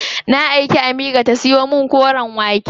Na aiki Amira ta siyo min koren wake.